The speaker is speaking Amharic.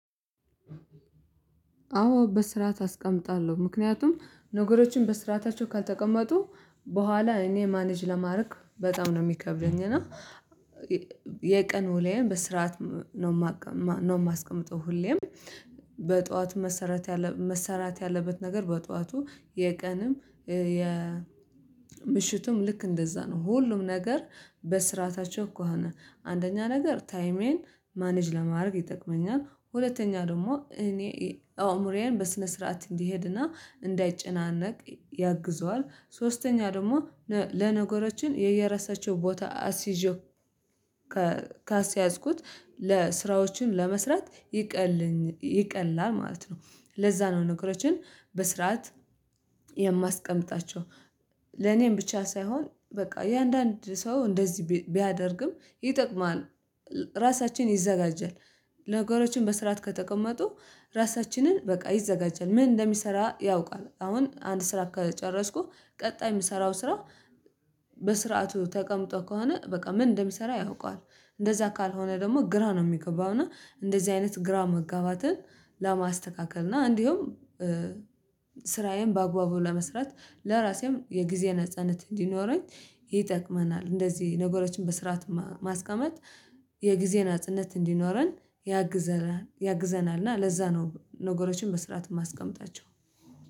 አዎ በስራት አስቀምጣለዌ ምክንያቱም ነገሮችን በስራታቸው ካልተቀመጡ በኋላ እኔ ማኔጅ ለማድረግ በጣም ነው ሚከብደኝ። እና የቀኑ ለይ በስርዓት ነው ማስቀምጠው ሁሌም በጠዋቱ መሰረት መሰራት ያለበት ነገር በጧቱ የቀንም የምሽቱም ልክ እንደዛ ነው ሁሉም ነገር በስርዓታቸው ከሆነ አንደኛ ነገር ታይሜን ማኔጅ ለማድረግ ይጠቅመኛል። ሁለተኛ ደግሞ እኔ አእምሮዬን በስነ ስርዓት እንዲሄድና እንዳይጨናነቅ ያግዘዋል። ሶስተኛ ደግሞ ለነገሮችን የየራሳችው ቦታ አስይዤው ካስያዝኩት ለስራዎችን ለመስራት ይቀላል ማለት ነው። ለዛ ነው ነገሮችን በስርዓት የማስቀምጣቸው ለኔም ብቻ ሳይሆን በቃ እያንዳንድ ሰው እንደዚህ ቢያደርግም ይጠቅማል። ራሳችን ይዘጋጃል ነገሮችን በስራት ከተቀመጡ ራሳችንን በቃ ይዘጋጃል ምን እንደሚሰራ ያውቃል። አሁን አንድ ስራ ከጨረስኩ ቀጣይ ምሰራው ስራ በስርዓቱ ተቀምጦ ከሆነ በቃ ምን እንደሚሰራ ያውቃል። እንደዛ ካልሆነ ደግሞ ግራ ነው ሚገባው እና እንደዚህ አይነት ግራ መጋባትን ለማስተካከል እና እንዲሁም ስራዬን በአግባቡ ለመስራት ለራሴም የጊዜ ነጻነት እንዲኖረኝ ይጠቅመናል። እንደዚህ ነገሮችን በስርዓት ማስቀመጥ የጊዜን አጽነት እንዲኖረን ያግዘናል ያግዘናል። እና ለዛ ነው ነገሮችን በስራት ማስቀምጣቸው